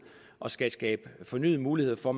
og som skal skabe fornyede muligheder for